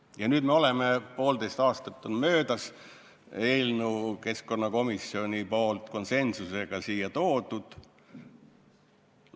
" Ja nüüd, kui poolteist aastat on möödas, on keskkonnakomisjon konsensuslikult eelnõu siia toonud.